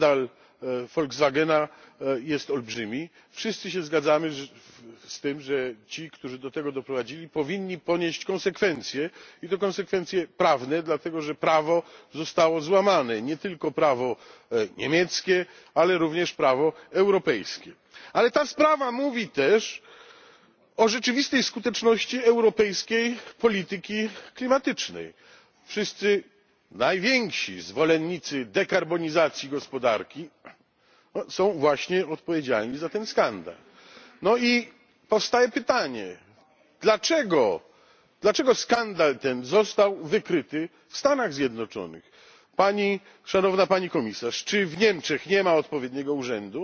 Panie Przewodniczący! Pani Komisarz! Wszyscy tutaj zgadzamy się, że skandal Volkswagena jest olbrzymi, wszyscy się zgadzamy z tym, że ci, którzy do tego doprowadzili, powinni ponieść konsekwencje i to konsekwencje prawne, dlatego że prawo zostało złamane, nie tylko prawo niemieckie, ale również prawo europejskie. Ale ta sprawa mówi też o rzeczywistej skuteczności europejskiej polityki klimatycznej wszyscy najwięksi zwolennicy dekarbonizacji gospodarki są właśnie odpowiedzialni za ten skandal. No i powstaje pytanie dlaczego, dlaczego skandal ten został wykryty w Stanach Zjednoczonych? Szanowna Pani Komisarz, czy w Niemczech nie ma odpowiedniego urzędu,